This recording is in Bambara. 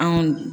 Anw